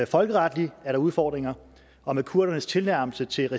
folkeretligt er udfordringer og med kurdernes tilnærmelse til